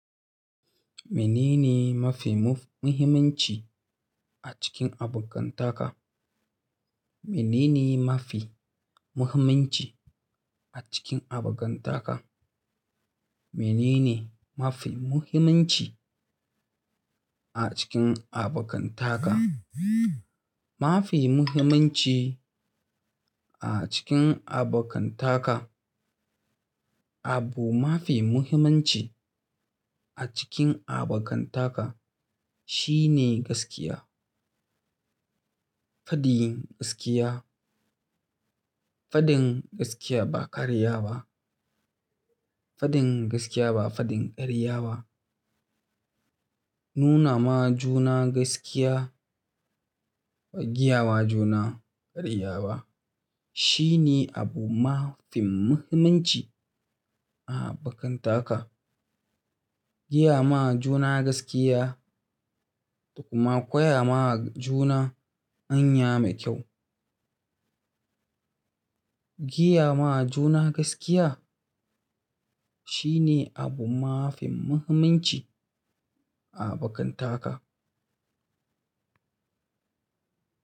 Mene ne mafi muhimmanci a cikin abokantaka? Mene ne mafi muhimmanci a cikin abokantaka? Mene ne mafi muhimmanci a cikin abokantaka? Mafi muhimmanci a cikin abokantaka, abu mafi muhimmanci a cikin abokantaka, shine gaskiya. Fadin gaskiya, fadin gaskiya ba karya ba. Fadin gaskiya ba fadin karya ba. Nuna ma juna gaskiya, gaya ma juna karya ba shine abu mafi muhimmanci a abokantaka. Giya ma juna gaskiya da kuma koya ma juna hanya mai kyau. Giya ma juna gaskiya shine abu mafi muhimmanci a abokantaka.